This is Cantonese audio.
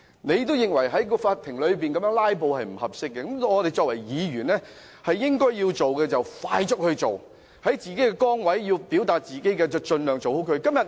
既然他認為在法庭內"拉布"是不恰當的，我們作為議員，應該要做的便要快速去做，在自己的崗位上盡量做好自己。